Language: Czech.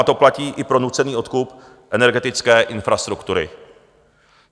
A to platí i pro nucený odkup energetické infrastruktury.